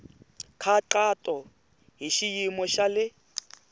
nkhaqato hi xiyimo xa le